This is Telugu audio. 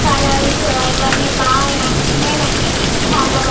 కలర్స్ ఇవన్నీ బాగా నచ్చినై నాకు చాలా --